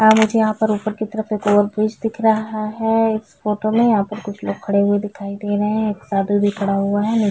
है यहाँ मुझे पर ऊपर की तरफ एक और ब्रीज दिख रहा है इस फोटो में यहाँ पर कुछ लोग खड़े हुए दिखाई दे रहे है एक साधु भी खड़ा हुआ है नीचे--